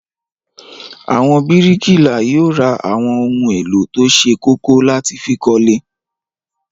Àwọn bíríkìlà yóò ra àwọn ohun-èlò tó ṣe kókó láti fi kọ́lé.